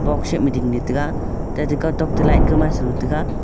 box shape ma dingley taiga tatey kawtok to light ka maisalo taiga.